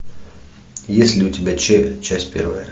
есть ли у тебя че часть первая